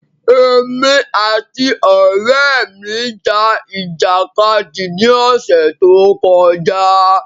Èmi àti ọrẹ mi ja ìjàkadì ní ọsẹ tó kọjá